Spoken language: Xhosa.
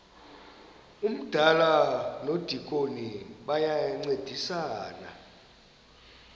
umdala nomdikoni bayancedisana